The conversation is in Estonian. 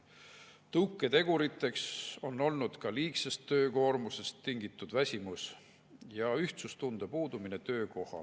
Tõuketeguriteks on olnud ka liigsest töökoormusest tingitud väsimus ja ühtsustunde puudumine töökohal.